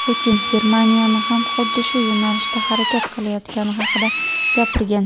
Putin Germaniyani ham xuddi shu yo‘nalishda harakat qilayotgani haqida gapirgan.